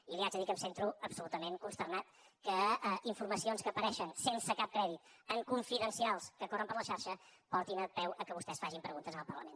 i li haig de dir que em sento absolutament consternat que informacions que apareixen sense cap crèdit en confidencials que corren per la xarxa portin peu al fet que vostès facin preguntes al parlament